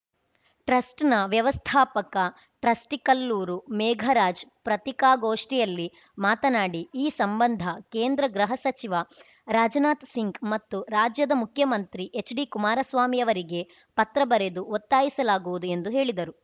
ಟ್ರಸ್ಟ್‌ನ ವ್ಯವಸ್ಥಾಪಕ ಟ್ರಸ್ಟಿಕಲ್ಲೂರು ಮೇಘರಾಜ್‌ ಪ್ರತ್ತಿಕಾಗೋಷ್ಠಿಯಲ್ಲಿ ಮಾತನಾಡಿ ಈ ಸಂಬಂಧ ಕೇಂದ್ರ ಗೃಹ ಸಚಿವ ರಾಜನಾಥ್‌ ಸಿಂಗ್‌ ಮತ್ತು ರಾಜ್ಯದ ಮುಖ್ಯಮಂತ್ರಿ ಎಚ್‌ ಡಿ ಕುಮಾರಸ್ವಾಮಿಯವರಿಗೆ ಪತ್ರ ಬರೆದು ಒತ್ತಾಯಿಸಲಾಗುವುದು ಎಂದು ಹೇಳಿದರು